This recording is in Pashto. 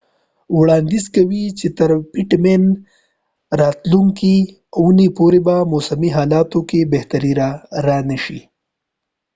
پټ مین pittman وړانديز کوي چې تر راتلونکې اوونی پورې به موسمی حالاتو کې بهتری را نشي